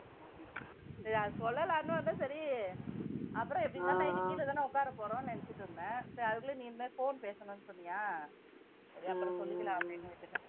சரி அதை சொல்லலாம்னு வந்தேன் சரி அப்புறம் எப்படியிருந்தாலும் night கீழேதானே உட்கார போறோம்ன்னு நினைச்சிட்டு இருந்தேன். சரி, அதுக்குள்ள நீங்களே phone பேசணும்னு சொன்னியா சரி அப்புறம் சொல்லிக்கலாம் அப்படின்னு விட்டுட்டேன்